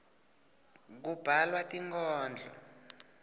kubhalwa tinkhondlo